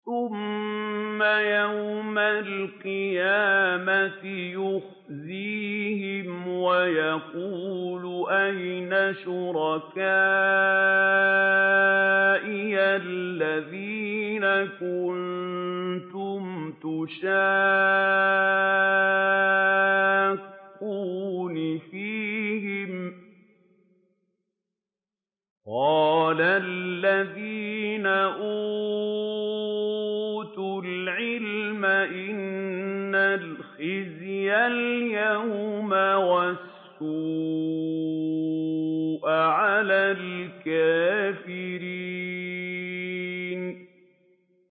ثُمَّ يَوْمَ الْقِيَامَةِ يُخْزِيهِمْ وَيَقُولُ أَيْنَ شُرَكَائِيَ الَّذِينَ كُنتُمْ تُشَاقُّونَ فِيهِمْ ۚ قَالَ الَّذِينَ أُوتُوا الْعِلْمَ إِنَّ الْخِزْيَ الْيَوْمَ وَالسُّوءَ عَلَى الْكَافِرِينَ